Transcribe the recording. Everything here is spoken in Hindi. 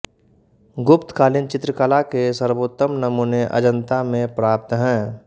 गुप्तकालीन चित्रकला के सर्वोत्तम नमूने अजन्ता में प्राप्त हैं